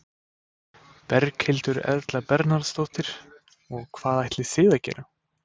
Berghildur Erla Bernharðsdóttir: Og hvað ætlið þið að gera?